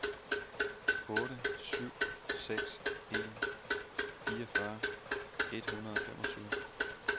otte syv seks en fireogfyrre et hundrede og femogtyve